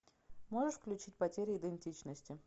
можешь включить потеря идентичности